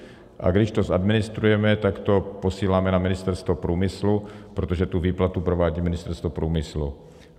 A když to zadministrujeme, tak to posíláme na Ministerstvo průmyslu, protože tu výplatu provádí Ministerstvo průmyslu.